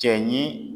Cɛ ɲin